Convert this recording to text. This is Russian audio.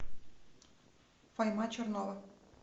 файма чернова